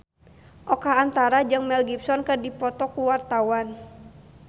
Oka Antara jeung Mel Gibson keur dipoto ku wartawan